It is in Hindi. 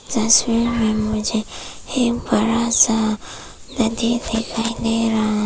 इस तस्वीर में मुझे एक बड़ा सा नदी दिखाई दे रहा है।